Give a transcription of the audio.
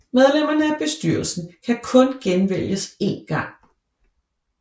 Medlemmerne af hovedbestyrelsen kan kun genvælges én gang